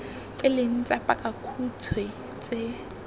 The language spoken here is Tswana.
e leng tsa pakakhutshwe tse